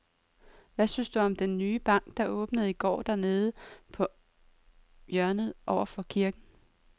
Hvad synes du om den nye bank, der åbnede i går dernede på hjørnet over for kirken?